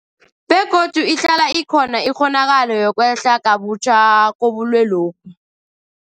Begodu ihlala ikhona ikghonakalo yokwehla kabutjha kobulwelobu.